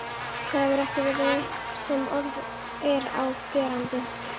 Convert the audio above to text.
Það hefur ekki verið neitt sem orð er á gerandi.